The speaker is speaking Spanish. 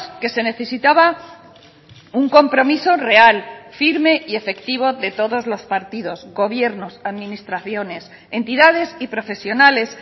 que se necesitaba un compromiso real firme y efectivo de todos los partidos gobiernos administraciones entidades y profesionales